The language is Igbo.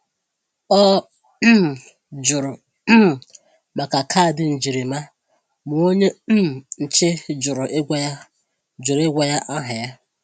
Ọ um jụrụ um maka kaadị njirima, ma onye um nche jụrụ ịgwa ya jụrụ ịgwa ya aha ya.